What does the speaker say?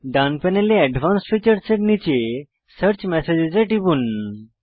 ডান প্যানেলে advanced features এর নীচে সার্চ মেসেজেস এ টিপুন